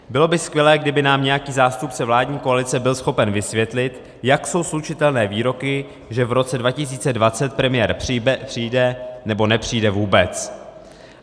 Bylo by skvělé, kdyby nám nějaký zástupce vládní koalice byl schopen vysvětlit, jak jsou slučitelné výroky, že v roce 2020 premiér přijde, nebo nepřijde vůbec.